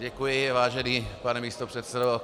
Děkuji, vážený pane místopředsedo.